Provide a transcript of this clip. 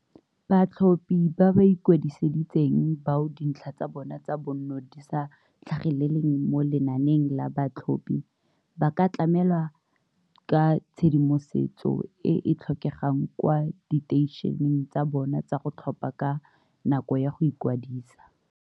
Batlhophi ba ba ikwadisitseng bao dintlha tsa bona tsa bonno di sa tlhageleleng mo lenaaneng la batlhophi, ba ka tlamela ka tshedimosetso e e tlhokegang kwa diteišeneng tsa bona tsa go tlhopha ka nako ya go ikwadisa.